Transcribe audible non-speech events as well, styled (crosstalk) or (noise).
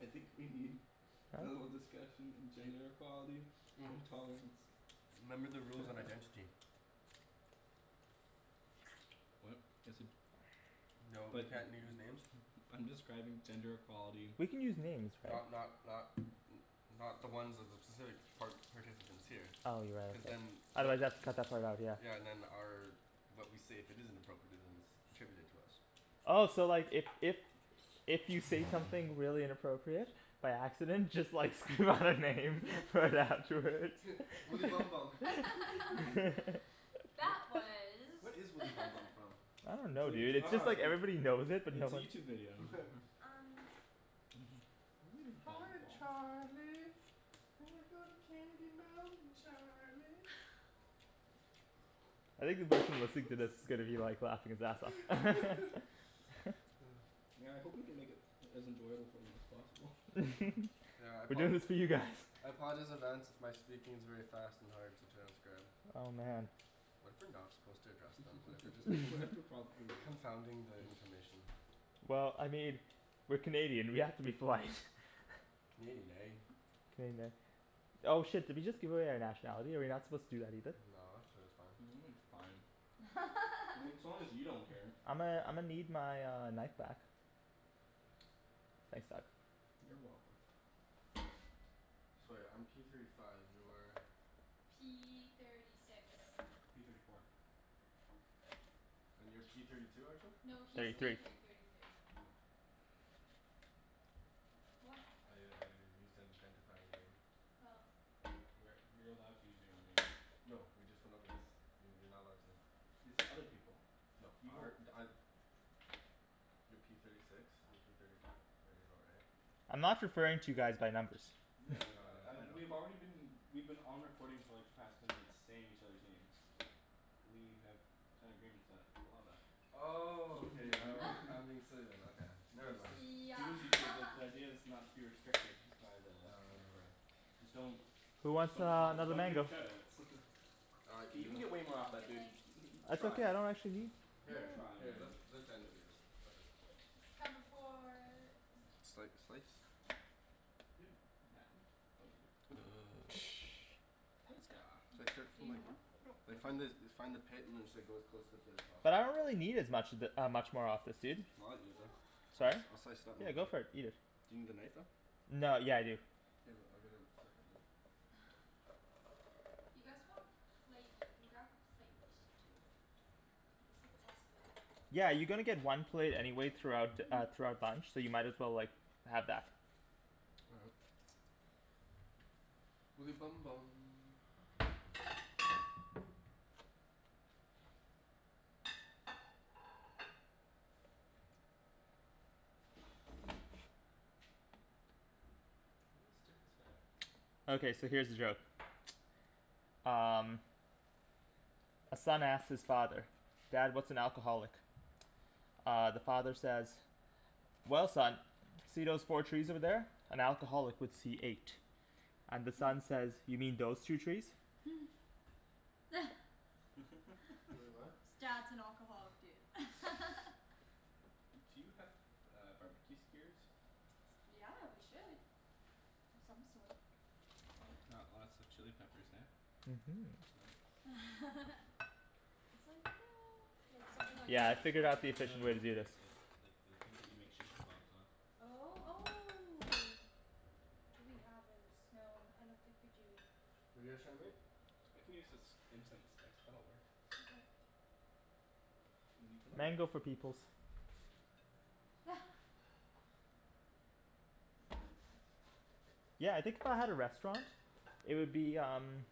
I think we need (noise) a little discussion in gender equality (noise) and tolerance. Remember the rules on identity. (noise) What? Just said No, you But can't use names. (noise) I'm describing gender equality. We can use names, right? Not not not n- not the ones of the specific par- participants here. Oh, you're right Cuz ye- then otherwise they'll have to cut that part out, yeah. Yeah, and then our but we say if it isn't appropriate it isn't attributed to us. Oh so like if if If you say something really inappropriate by accident just like scream out a name right afterwards (laughs) Woody Bum Bum (laughs) (laughs) Wha- That was what is Woody (laughs) Bum Bum from? I don't know dude, it's just like everybody knows it But but no it's a one YouTube video. (laughs) Um Hi Charlie, we go to Candy Mountain Charlie. I think the person listening to Oops this is gonna be like laughing his ass off (laughs) (laughs) Yeah, I hope we can make it as enjoyable for them as possible. (laughs) Yeah, I We're apo- doing this for you guys. I apologize in advance if my speaking is very fast and hard to transcribe. Oh man What if we're not supposed to address them? What if we're just thinking (laughs) confounding the information. Well, I mean, we're Canadian, we have to be polite. Canadian, eh? Canadian, eh? Oh shit, did we just give away our nationality? Are we not supposed to do that either? No, I'm sure it's fine. (noise) It's fine. I mean as (laughs) long as you don't care. I'ma I'ma need my uh knife back. Thanks bud. You're welcome. So right, I'm P thirty five, you're P thirty six P thirty four And you're P thirty two, Arjan? No, he's Thirty Arjan? P three thirty thirty three. What? I I used that to identify your name. Oh. We're you're allowed to use your own name. No, we just went over this. You- you're not allowed to. They said other people. No You were our (noise) You're P thirty six, I'm P thirty five. There you go right? I'm not referring to you guys by numbers. Yeah like I I uh we've already been we've been on recording for like the past ten minutes saying each others' names. We have signed agreements that allow that. Oh, okay all (laughs) right, (laughs) I'm being remember? silly then, okay. Never Just mind. just do Yeah as you do because the (laughs) idea is not to be restricted by the recording. Just don't Who wants Don't uh call, another don't give mango? shout outs. K, you can (inaudible) get No way more off I'm that, good, dude. thanks. That's Try. okay, I don't actually need Here, Try let man let (inaudible) It's comin' for Sli- slice? (noise) It's like Do something you need like more? Like find the find the pit and just go as close to the pit as possible. But I don't really need as much of it uh much more of this, dude. Well I'll eat it then. I'll Sorry? (noise) jus- I'll slice Yeah, go for it, eat (inaudible) it. Do you need the knife though? No, yeah I do. Do you have a- I'll get a second knife. (noise) You guys want a plate, you can grab a plate, too. Like it's a possibility. Yeah, you're gonna get one plate anyway throughout uh throughout bunch, so you might as well like have that. All right. Woody Bum Bum Okay, so here's a joke (noise) Um A son asks his father, "Dad, what's an alcoholic?" Uh the father says "Well son, see those four trees over there? An alcoholic would see eight." And the son says "You mean those two trees?" (noise) (laughs) Wai- , (laughs) what? Dad's an alcoholic dude (laughs) Do you have uh barbecue skewers? Yeah, we should Of some sort Got lots of chili peppers eh? (laughs) It's like no, like something like Yeah, I this? figured out the Or like No efficient no way to do this. like like like the things that you make shish kebabs on Oh, oh Do we have this? No, I don't think we do. What're you guys trying to make? I can use this incense stick, that'll work. Okay. And then you can light it. Mango for peoples. (noise) Yeah, I think if I had a restaurant, it would be um